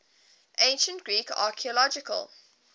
ancient greek archaeological